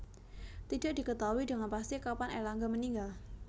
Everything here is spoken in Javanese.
Tidak diketahui dengan pasti kapan Airlangga meninggal